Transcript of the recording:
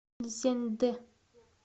цзяньдэ